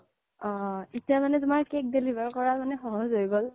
অহ্' এটিয়া মানে তোমাৰ cake deliver কৰাত সহজ হৈ গ্'ল